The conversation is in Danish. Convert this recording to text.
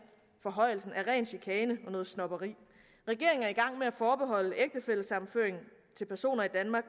forhøjelsen er ren chikane og noget snobberi regeringen er i gang med at forbeholde ægtefællesammenføring til personer i danmark